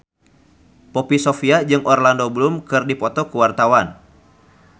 Poppy Sovia jeung Orlando Bloom keur dipoto ku wartawan